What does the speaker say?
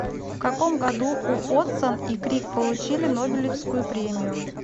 в каком году уотсон и крик получили нобелевскую премию